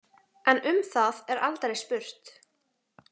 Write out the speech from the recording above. En um það er aldrei spurt.